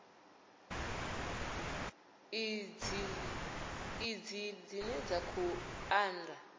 id dzine dza khou anda